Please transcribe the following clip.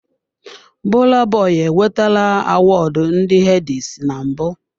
Burna Boy enwetara Awọọdụ ndị headies na mbụ.